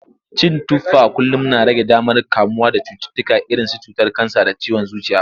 Cin tufa kullum na rage damar kamuwa da cututtuka irinsu cutar kansa da ciwon zuciya.